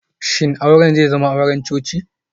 Shin auren zai zama auren coci?